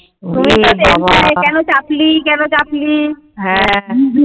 কেন চাপলী কেন চাপলী